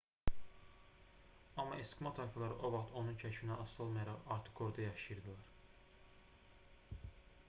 amma eskimo tayfaları o vaxt onun kəşfindən asılı olmayaraq artıq orada yaşayırdılar